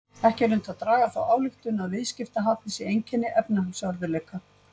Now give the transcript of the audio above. Ekki er unnt að draga þá ályktun að viðskiptahalli sé einkenni efnahagsörðugleika.